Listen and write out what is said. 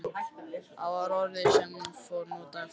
Þetta var orðið sem hún notaði: fórn.